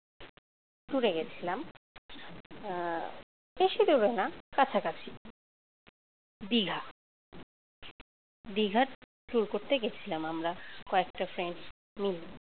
tour এ গেছিলাম বেশি দূরে না, কাছাকাছি, দীঘা দীঘা tour করতে গেছিলাম আমরা কয়েকটা friends মিলে